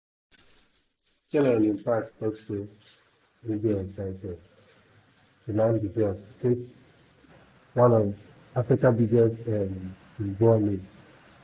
chelle on im part tok say e dey excited to land di job to coach one of africa biggest um football names.